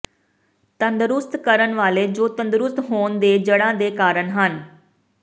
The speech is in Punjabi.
ਤੰਦਰੁਸਤ ਕਰਨ ਵਾਲੇ ਜੋ ਤੰਦਰੁਸਤ ਹੋਣ ਦੇ ਜੜ੍ਹਾਂ ਦੇ ਕਾਰਨ ਹਨ